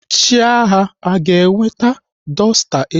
Chiaga aga eweta dọsta echi?